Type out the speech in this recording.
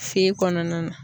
Fe kɔnɔna na.